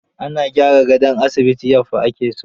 Ana gyara gadon asibiti yaffa ake so.